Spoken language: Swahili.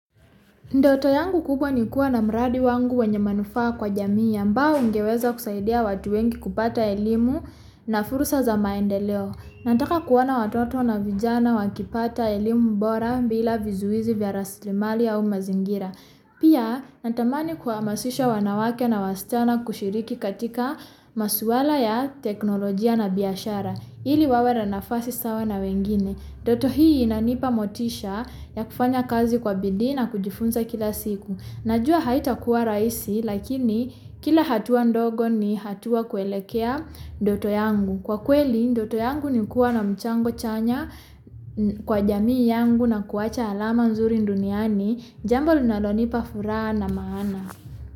Ndoto yangu kupo ni kwa namradi wangu wenye manufaa kwa jamii yamba ungeweza kusaidia watuwenki kupata elimu na furusa za maende leo. Nantaka kwa watoto na vijana wakipata elimu bora bila vizuizi via raslimali ya umazingira. Pia, nantamani kwa masisha wanawake na wasiwana kushiriki katika masuwala ya teknologia na biashara. Ili wawe na fasi sawa na wengine. Ndoto hii na nipa motisha ya kufanya kazi kwa bidi na kujifunza kila siku. Najua haitakua raisi, lakini kila hatuwa ndogo ni hatuwa kuelekea ndoto yangu. Kwa kuweli, ndoto yangu ni kwa namchango chanya kwa jamii yangu na kuwacha alama unzuri nduniani. Jambo linalonipa furaha na maana.